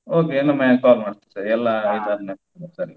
Okay ಇನ್ನೊಮ್ಮೆ call ಮಾಡ್ತೇನೆ ಎಲ್ಲಾ ಇದು ಆದ್ಮೇಲೆ ಸರಿ okay .